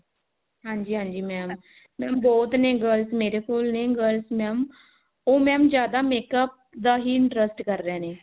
ਹਾਂਜੀ ਹਾਂਜੀ mam mam ਬਹੁਤ ਨੇ girls ਮੇਰੇ ਕੋਲ ਨੇ girls mam ਉਹ mam ਜਿਆਦਾ makeup ਦਾ ਹੀ interest ਕਰ ਰਹੇ ਨੇ